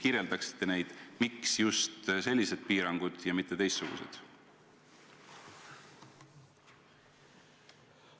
Kas te selgitaksite, miks just sellised piirangud ja mitte teistsugused?